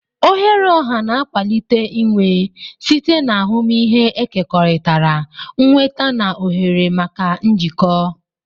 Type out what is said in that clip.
Oghere ọha na-akwalite inwe site na ahụmịhe ekekọrịtara, nnweta na ohere maka njikọ.